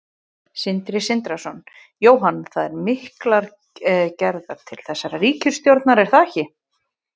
Sindri Sindrason: Jóhann, það eru miklar gerðar til þessarar ríkisstjórnar er það ekki?